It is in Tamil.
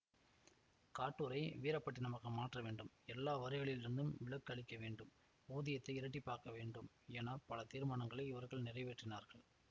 காட்டூரை வீரப்பட்டினமாக மாற்ற வேண்டும் எல்லா வரிகளிலிருந்தும் விலக்கு அளிக்க வேண்டும் ஊதியத்தை இரட்டிப்பாக்க வேண்டும் என பல தீர்மாணங்களை இவர்கள் நிறைவேற்றினார்கள்